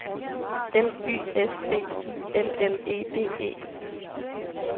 L Y S B I L L E D E